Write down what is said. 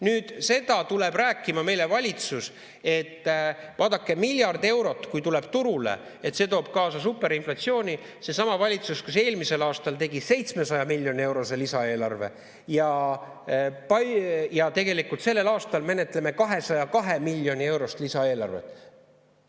Nüüd valitsus tuleb meile rääkima seda, et vaadake, kui miljard eurot tuleb turule, siis see toob kaasa superinflatsiooni – seesama valitsus, kes eelmisel aastal tegi 700 miljoni eurose lisaeelarve, ja sellel aastal menetleme 202 miljoni eurost lisaeelarvet.